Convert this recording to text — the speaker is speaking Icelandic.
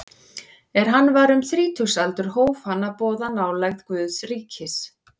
Er hann var um þrítugsaldur hóf hann að boða nálægð Guðs ríkis.